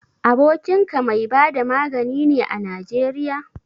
Abokinka mai bada magani ne a Najeriya?